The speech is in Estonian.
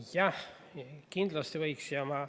Jah, kindlasti võiks.